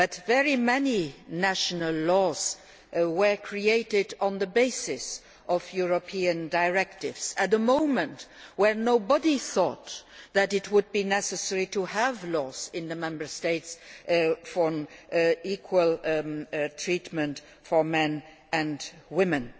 Very many national laws were created on the basis of European directives at a time when nobody thought it would be necessary to have laws in the Member States on equal treatment for men and women.